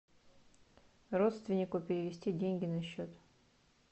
родственнику перевести деньги на счет